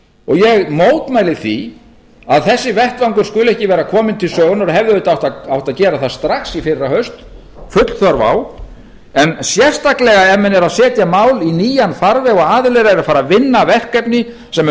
mönnum ég mótmæli því að þessi vettvangur skuli ekki vera kominn til sögunnar og hefði auðvitað átt að gera það strax í fyrrahaust full þörf á en sérstaklega ef menn eru að setja mál í nýjan farveg og aðilar eru farnir að vinna verkefni sem